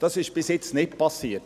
Dies ist bisher nicht geschehen.